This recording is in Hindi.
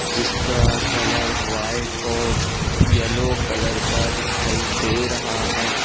जिसका कलर व्हाइट और येलो कलर का दिखाई दे रहा है।